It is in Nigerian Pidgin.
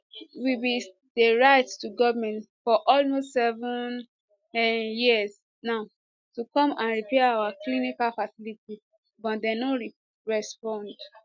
we bin dey write to goment for almost seven um years now to come and repair our clinical facility but dem no respond